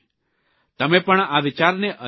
તમે પણ આ વિચારને અજમાવી જુઓ